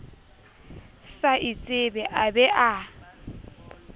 sa itsebe a be a